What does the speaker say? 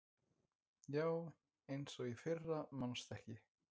Já, eins og í fyrra manstu ekki?